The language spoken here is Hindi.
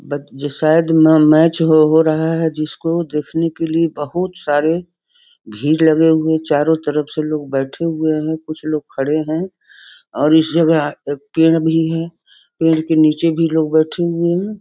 बत शायद यहां मैच हो हो रहा है जिसको देखने के लिए बहुत सारे भीड़ लगे हुए चारो तरफ से लोग बैठे हुए हैं कुछ लोग खड़े हैं और इस जगह एक पेड़ भी हैं पेड़ के नीचे लोग बैठे हुए हैं।